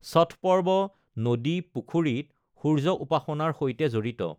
ষঠ পৰ্ব নদী, পুখুৰীত সূৰ্য উপাসনাৰ সৈতে জড়িত।